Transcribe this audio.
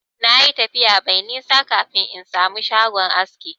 Na yi tafiya mai nisa kafin in samu shagon aski.